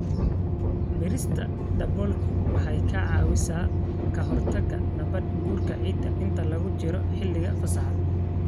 Beerista daboolku waxay ka caawisaa ka hortagga nabaad-guurka ciidda inta lagu jiro xilliga fasaxa.